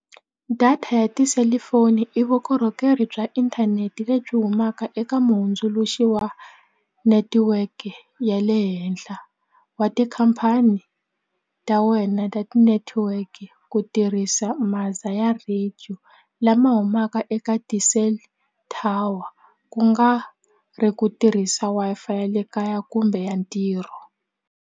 Data ya tiselifoni i vukorhokeri bya inthanete lebyi humaka eka muhundzuluxi wa netiweke ya le henhla wa tikhampani ta wena ta ti-network ku tirhisa ya radio lama humaka eka ti-cell tower ku nga ri ku tirhisa Wi-Fi ya le kaya kumbe ya ntirho.